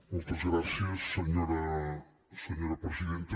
moltes gràcies senyora presidenta